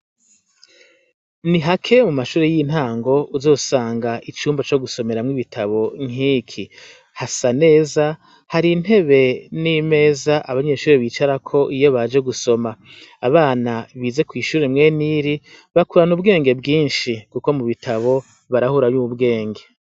Nihake mu mashure y'intango, uzosanga icumba co gusomeramwo ibitabo nk'iki. Hasa neza, har'intebe n'imeza abanyeshure bicarako iyo baje gusoma. Abana bize kw'ishure mwene iri bakurana ubwenge bwinshi kuko mu bitabo barahurayo ubwenge.